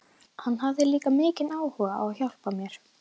Hann hafði líka mikinn áhuga á að hjálpa mér.